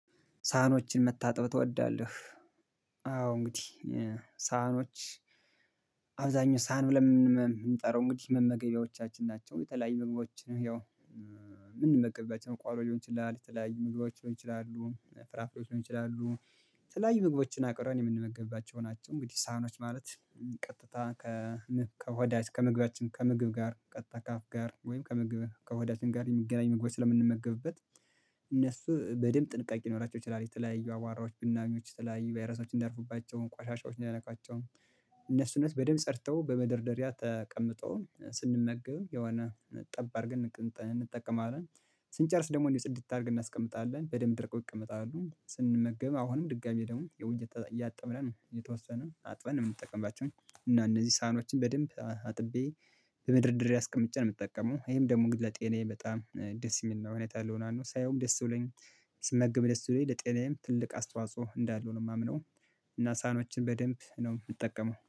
ሳህኖችን መታጠብ ትወዳለህ? አዎ እንግዲህ ሳህኖች አብዛኛው ሳህን ብለን የምንጠራው እንግዲህ መመገቢያዎቻችን ናቸው የተለያዩ ምግቦችን ያው የምንመገብባቸው ነው። ቆሎ ሊሆን ይችላል የተለያዩ ምግቦች ሊሆን ይችላሉ ፍራፍሬዎች ሊሆን ይችላሉ የተለያዩ ምግቦችን አቅረን የምንመገብባቸው ናቸው። እንግዲህ ሳህኖች ማለት ቀጥታ ከሆዳችን ከምግባችን ከምግብ ጋር ቀጥታ ከአፍ ጋር ወይም ከመግበል ከወዳጅን ጋር የሚገናኝ መግባት ስለምንመገብበት እነሱ በደንብ ጥንቃቄ ይኖራቸው ይችላል። የተለያዩ አባራዎች ብናዩ ተለያዩ ቫይረሶችን እንዳርፉባቸው ቋሻሻዎች እንዳይነካቸው። እነሱ እነሱ በደንብ ጸድተው በመደርደሪያ ተቀምጠው ስንመገብ የሆነ ጠብ አርገን እንጠቀማለን። ስንጨርስ ደግሞ እንዲህ ጽድት እንድታደርግ እናስቀምጣለን በደንብ ደርቆ ይቀመጣሉ። ስንመገብ አሁንም ድጋሚ ደግሞ ያው እያጠበን ነው የተወሰነው አጥበን የምንጠቀምባቸው። እና እነዚህ ሳህኖችን በደንብ አጥቤ በመደርደሪያ አስቀምጬ ነው የምጠቀመው። ይሄም ደግሞ ለጤናዬም በጣም ደስ የሚል ነው። እውነት አለው ነው። ሳየውም ደስ ብሎኝ ስመገብ ደስ ብሎኝ ለጤናዬም ትልቅ አስተዋጽኦ እንዳለው ነው የማምነው። እና ሳኖችን በደንብ ነው የምጠቀመው